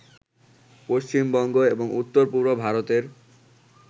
পশ্চিমবঙ্গ এবং উত্তরপূর্ব ভারতের